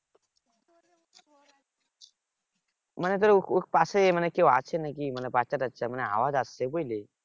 মানে তোর পাশে কেউ আছে নাকি বাচ্চা টাচ্চা মানে আওয়াজ আসছে বুঝলি